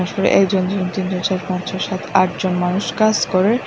উপরে একজন জন তিনজন চার পাঁচ ছয় সাত আট জন মানুষ কাস করে।